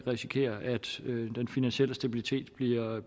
risikere at den finansielle stabilitet bliver